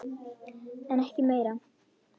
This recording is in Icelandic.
En ekki meira.